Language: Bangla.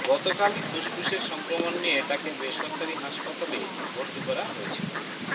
গতকালই ফুসফুসের সংক্রমণ নিয়ে তাকে বেসরকারি হাসপাতালে ভর্তি করা হয়েছিল